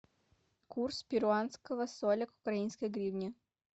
курс перуанского соля к украинской гривне